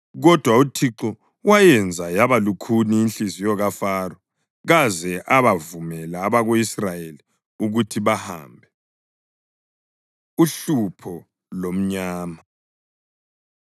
Kodwa uThixo wayenza yaba lukhuni inhliziyo kaFaro, kaze abavumela abako-Israyeli ukuthi bahambe. Uhlupho Lomnyama